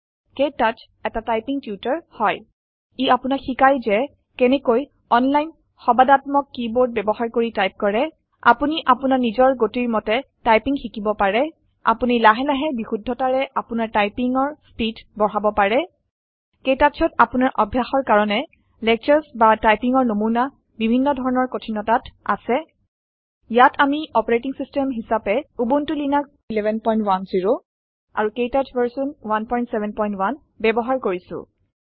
ক্তৌচ এতা typing tutor হয় ই আপুনাক শিকায় যে কেনেকৈ অনলাইন সবাঁদাত্মক কিবৰ্দ বৱহাৰ কৰি টাইপ কৰে আপুনি অপুনাৰ নিজৰ গতিৰ মতে টাইপিঙ শিকিব পাৰে আপুনি লাহে লাহে বিশুধ্বতাৰে অপুনাৰ টাইপিঙৰ চ্পীদ বঢ়াব পাৰে কেটাছত অপুনাৰ অভয়াসৰ কাৰনে লেকছ্ৰ্চ বা টাইপিঙৰ নমুনা বিভিন্ন ধৰনৰ কথিনতাত আছে ইয়াত আমি অপাৰেটিং চিষ্টেম হিচাপে উবুন্টো লিনাক্চ 1110 আৰু কেটাছ ভাৰ্চন 171 ব্যৱহাৰ কৰিছোঁ